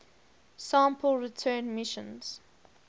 sample return missions